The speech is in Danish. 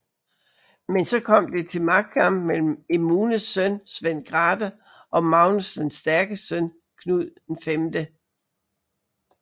Men så kom det til magtkamp mellem Emunes søn Svend Grathe og Magnus den Stærkes søn Knud 5